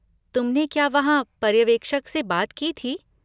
तुमने क्या वहाँ पर्यवेक्षक से बात की थी?